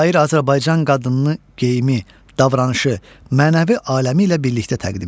Şair Azərbaycan qadınını geyimi, davranışı, mənəvi aləmi ilə birlikdə təqdim edir.